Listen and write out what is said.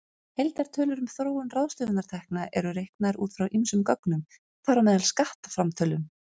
Heildartölur um þróun ráðstöfunartekna eru reiknaðar út frá ýmsum gögnum, þar á meðal skattframtölum.